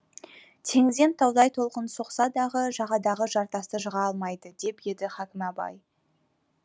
теңізден таудай толқын соқса дағы жағадағы жартасты жыға алмайды деп еді хакім абай